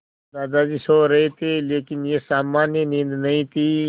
दादाजी सो रहे थे लेकिन यह सामान्य नींद नहीं थी